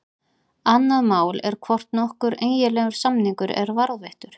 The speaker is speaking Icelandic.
Annað mál er hvort nokkur eiginlegur samningur er varðveittur.